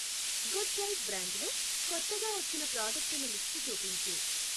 Good diet బ్రాండులో కొత్తగా వచ్చిన ప్రాడక్టుల లిస్టు చూపించు?